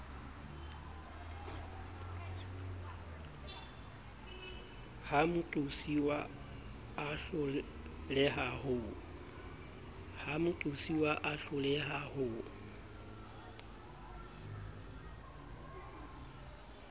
ha moqosuwa a hloleha ho